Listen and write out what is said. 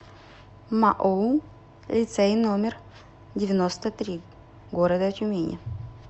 маоу лицей номер девяносто три города тюмени